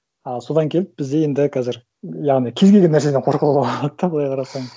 ы содан келіп бізде енді қазір яғни кез келген нәрседен қорқуға болады да былай қарасаң